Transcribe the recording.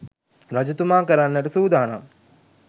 රජතුමා කරන්නට සූදානම්